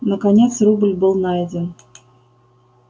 наконец рубль был найден